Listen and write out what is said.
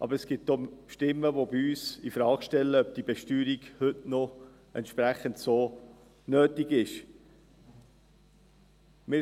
Aber es gibt bei uns auch Stimmen, welche die Frage stellen, ob diese Besteuerung heute noch so nötig sei.